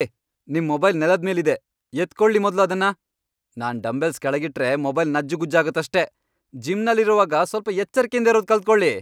ಹೇ, ನಿಮ್ ಮೊಬೈಲ್ ನೆಲದ್ಮೇಲಿದೆ, ಎತ್ಕೊಳಿ ಮೊದ್ಲು ಅದ್ನ.. ನಾನ್ ಡಂಬೆಲ್ಸ್ ಕೆಳಗಿಟ್ರೆ ಮೊಬೈಲ್ ನಜ್ಜುಗುಜ್ಜಾಗತ್ತಷ್ಟೇ.. ಜಿಮ್ನಲ್ಲಿರೋವಾಗ ಸ್ವಲ್ಪ ಎಚ್ಚರ್ಕೆಯಿಂದಿರೋದ್ ಕಲ್ತ್ಕೊಳಿ.